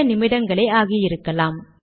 சில நிமிடங்களே ஆகியிருக்கலாம்